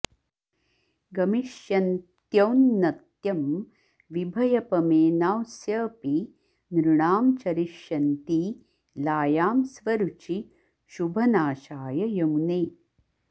गमिष्यन्त्यौन्नत्यं विभयपमेनांस्यऽपि नृणां चरिष्यन्ती लायां स्वरुचि शुभनाशाय यमुने